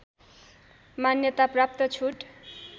मान्यता प्राप्त छुट